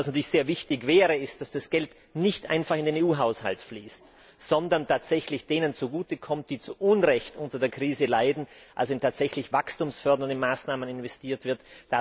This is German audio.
Was natürlich sehr wichtig wäre, ist, dass das Geld nicht einfach in den EU Haushalt fließt, sondern tatsächlich denen zugutekommt, die zu Unrecht unter der Krise leiden, dass also in tatsächlich wachstumsfördernde Maßnahmen investiert wird.